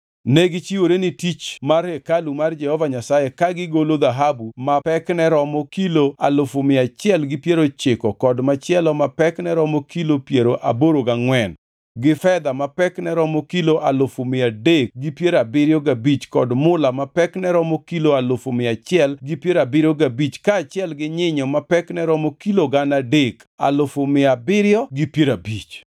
Negichiwore ne tich mar hekalu mar Jehova Nyasaye ka gigolo dhahabu ma pekne romo kilo alufu mia achiel gi piero ochiko kod machielo ma pekne romo kilo piero aboro gangʼwen, gi fedha ma pekne romo kilo alufu mia adek gi piero abiriyo gabich kod mula ma pekne romo kilo alufu mia auchiel gi piero abiriyo gabich kaachiel gi nyinyo ma pekne romo kilo gana adek, alufu mia abiriyo gi piero abich.